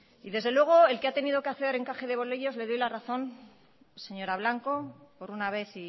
y desde luego el que ha tenido que hacer encaje de bolillos le doy la razón señora blanco por una vez